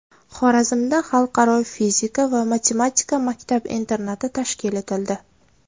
Xorazmda Xalqaro fizika va matematika maktab-internati tashkil etildi.